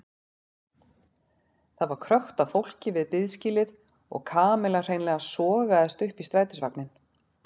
Það var krökkt af fólki við biðskýlið og Kamilla hreinlega sogaðist upp í strætisvagninn.